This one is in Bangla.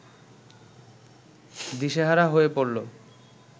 দিশেহারা হয়ে পড়ল